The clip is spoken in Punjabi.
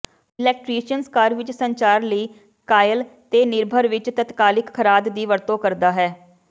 ਇਲੈਕਟਰੀਸ਼ਨਜ਼ ਘਰ ਵਿਚ ਸੰਚਾਰ ਲਈ ਕਾਇਲ ਤੇਨਿਰਭਰ ਵਿਚ ਤਤਕਾਲਿਕ ਖਰਾਦ ਦੀ ਵਰਤੋ ਕਰਦਾ ਹੈ